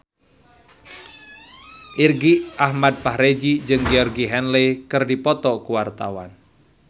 Irgi Ahmad Fahrezi jeung Georgie Henley keur dipoto ku wartawan